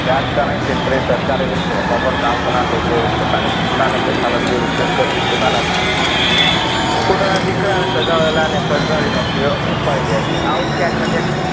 રાજકારણ ક્ષેત્રે સરકારી એવું જ બરોબર કામ ના લોકો પોતાના સત્તાનો પૈસાનો દુરુપયોગ કરી પોતાના, પોતાના દીકરાની સગાવવાની સગા વહાલા ના સરકારી નોકરીઓ અપાવી દે છે આવતો ક્યાંક ને ક્યાંક,